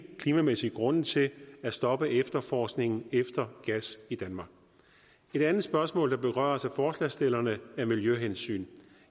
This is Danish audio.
klimamæssige grunde til at stoppe efterforskningen efter gas i danmark et andet spørgsmål der berøres af forslagsstillerne er miljøhensyn